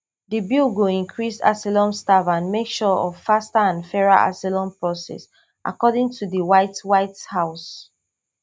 di bill go increase asylum staff and make sure of faster and fairer asylum process according to di white white house